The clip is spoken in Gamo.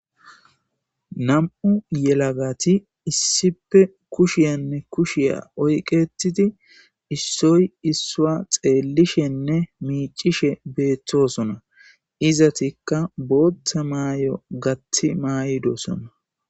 nam'u yelagati issipe kushiyanne kushiya oyqetidi issoy issuwa xeellishenne miicishe beeththosona izatikka bootta maay7o gatti maaydosona